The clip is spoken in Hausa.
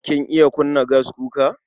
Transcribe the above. Kin iya kunna gaskuka?